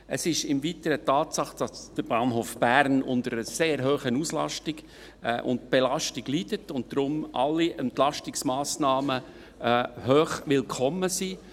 Es ist im Weiteren eine Tatsache, dass der Bahnhof Bern unter einer sehr hohen Auslastung und Belastung leidet und deshalb alle Entlastungsmassnahmen hochwillkommen sind.